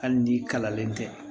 Hali ni kalalen tɛ